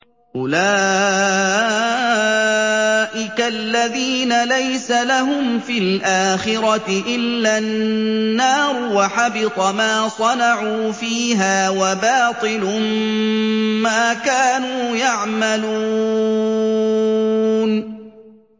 أُولَٰئِكَ الَّذِينَ لَيْسَ لَهُمْ فِي الْآخِرَةِ إِلَّا النَّارُ ۖ وَحَبِطَ مَا صَنَعُوا فِيهَا وَبَاطِلٌ مَّا كَانُوا يَعْمَلُونَ